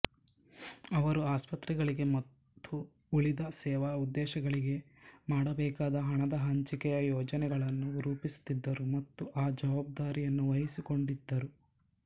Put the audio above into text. ಅವರು ಆಸ್ಪತ್ರೆಗಳಿಗೆ ಮತ್ತು ಉಳಿದ ಸೇವಾ ಉದ್ದೇಶಗಳಿಗೆ ಮಾಡಬೇಕಾದ ಹಣದ ಹಂಚಿಕೆಯ ಯೋಜನೆಗಳನ್ನು ರೂಪಿಸುತ್ತಿದ್ದರು ಮತ್ತು ಆ ಜವಾಬ್ದಾರಿಯನ್ನು ವಹಿಸಿಕೊಂಡಿದ್ದರು